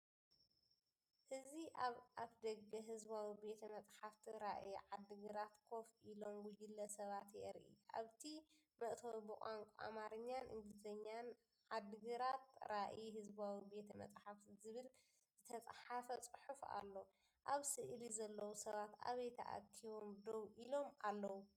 እዚ ኣብ ኣፍደገ ህዝባዊ ቤተ-መጻሕፍቲ ራእይ ዓዲግራት ኮፍ ኢሎም ጉጅለ ሰባት የርኢ። ኣብቲ መእተዊ ብቋንቋ ኣምሓርኛን እንግሊዝኛን “ዓድግራት ራእይ ህዝባዊ ቤተ-መጻሕፍቲ” ዝብል ዝተጻሕፈ ጽሑፍ ኣሎ። ኣብ ስእሊ ዘለዉ ሰባት ኣበይ ተኣኪቦም ደው ኢሎም ኣለዉ?